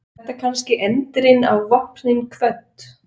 Var þetta kannski endirinn á Vopnin kvödd?